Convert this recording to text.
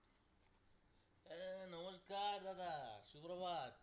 নমস্কার দাদা সুপ্রভাত।